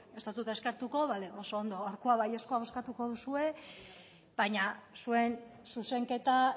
ez dizut eskertuko bale oso ondo gaurkoa baiezkoa bozkatuko duzue baina zuen zuzenketa